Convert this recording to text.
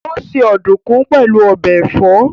Ó se ọ̀dùkún pẹ̀lú ọbẹ̀ ẹ̀fọ́